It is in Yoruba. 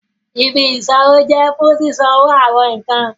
Ìbí isanwo jẹ fún sisanwo awọn nkán